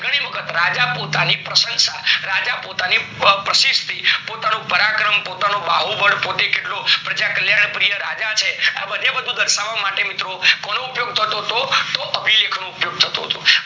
રાજા પોતાની પ્રશંસા, રાજા પોતાની પ્રસિદ્ધિ, પોતાનું પરાક્રમ, પોતાનું બાહુબળ, પોતે કેટલો પ્રજા કલ્યાણ પ્રિય રાજા છે, આ બધે બધું દર્શાવવા માટે મિત્રો કોનો ઉપયોગ થતો તો? તો અભિલેખ નો ઉપયોગ થતો તો. એ કોઈ પથ્થર ઉપર લખવામાં આવતો.